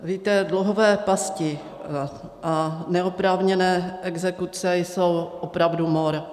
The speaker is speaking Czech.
Víte, dluhové pasti a neoprávněné exekuce jsou opravdu mor.